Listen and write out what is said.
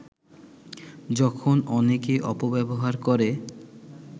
যখন অনেকে অপব্যবহার করে